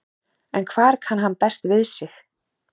En hvar kann hann best við sig?